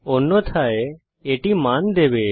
অন্যথায় এটি মান দেবে